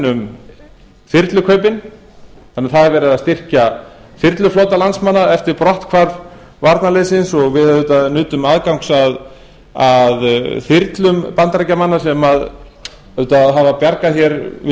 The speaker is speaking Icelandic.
um þyrlukaupin þannig að það er verið að styrkja þyrluflota landsmanna eftir brotthvarf varnarliðsins og við nutum auðvitað aðgangs að þyrlum bandaríkjamanna sem auðvitað hafa bjargað hér við